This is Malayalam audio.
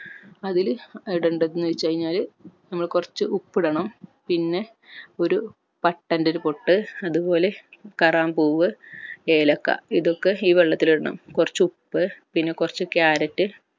അതിൽ ഇടണ്ടത് എന്ന് വെച്ചുകഴിനാൽ നമ്മൾ കൊർച്ച് ഉപ്പ് ഇടണം പിന്നെ ഒരു പട്ടൻ്റെ ഒരു പൊട്ട് അതുപോലെ കറാമ്പൂവ് ഏലക്ക ഇതൊക്കെ ഈ വെള്ളത്തിൽ ഇടണം കൊർച്ച് ഉപ്പ് പിന്നെ കൊർച്ച് ക്യാരറ്റ്